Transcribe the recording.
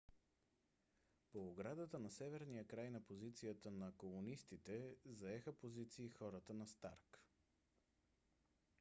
по оградата на северния край на позицията на колонистите заеха позиции хората на старк